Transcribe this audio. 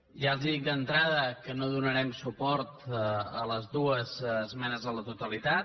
ja els dic d’entrada que no donarem suport a les dues esmenes a la totalitat